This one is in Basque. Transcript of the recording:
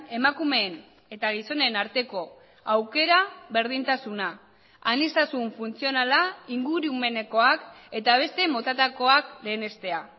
emakumeen eta gizonen arteko aukera berdintasuna aniztasun funtzionala ingurumenekoak eta beste motatakoak lehenestea